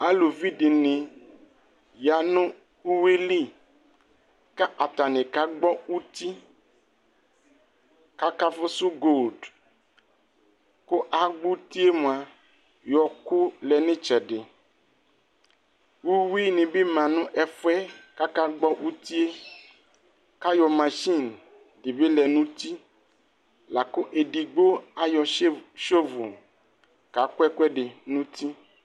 Alʋvi dι nι ya nʋ uvi lι kʋ atani kagbɔ uti kʋ akafusu gold kʋ agbɔ uti yɛ mua yɔ kʋ lɛ nʋ itsɛdι Uwi nι bi ma nʋ ɛfu yɛ kʋ akagbɔ uti yɛ kʋayɔ mashin dι bι ma nʋ uti la kʋ edigbo ayɔ tse tsɔvol kaku ɛkuɛɔdι nʋ uti